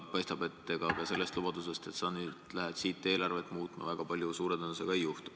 Paistab, et ega ka selle lubaduse tõttu, et sa hakkad nüüd eelarvet muutma, väga palju suure tõenäosusega ei juhtu.